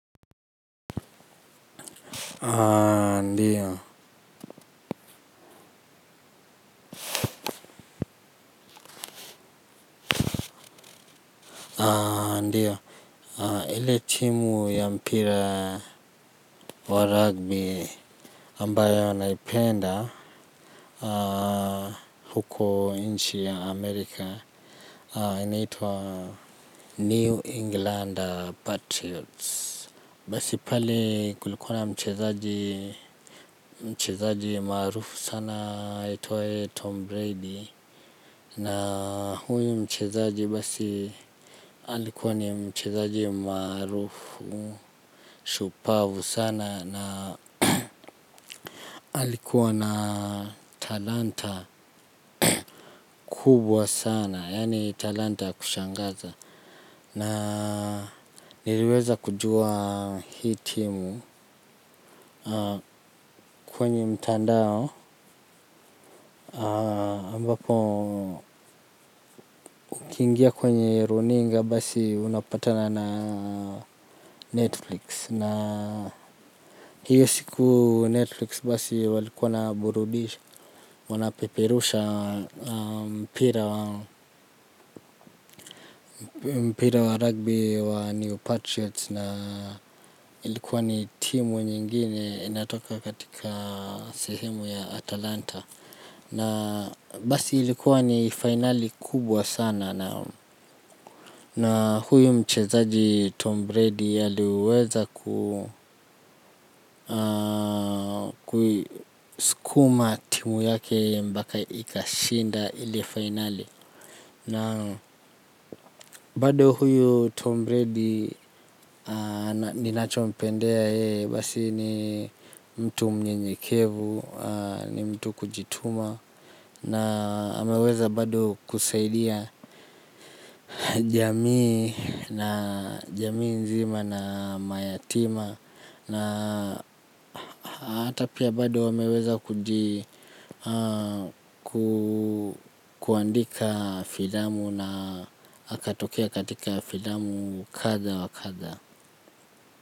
Ndio ndio ile timu ya mpira wa rugby ambayo naipenda huko inchi ya amerika inaitua new englander patriots basi pale kulikuwa na mchezaji mchezaji marufu sana aitwaye Tom Brady na huyu mchezaji basi alikuwa ni mchezaji maarufu, shupavu sana na alikuwa na talanta kubwa sana yani talanta ya kushangaza. Na niliweza kujua hii timu kwenye mtandao, ambapo ukiingia kwenye runinga basi unapatana na Netflix. Na hiyo siku Netflix basi walikuwa wanaburudisha, wanapeperusha mpira wa rugby wa New Patriots na ilikuwa ni timu nyingine inatoka katika sehemu ya Atalanta. Na basi ilikuwa ni finali kubwa sana na huyu mchezaji Tom Brady aliweza kuma timu yake mpaka ikashinda ile finali. Na bado huyu Tom Brady ninacho mpendea yeye basi ni mtu mnyenyekevu ni mtu kujituma na ameweza bado kusaidia jamii na jamii nzima na mayatima Na hata pia bado ameweza kuandika filamu na akatokea katika filamu kadha wa kadha.